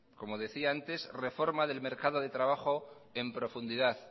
como decía antes reforma del mercado del trabajo en profundidad